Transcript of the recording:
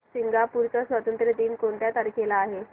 Singapore चा स्वातंत्र्य दिन कोणत्या तारखेला आहे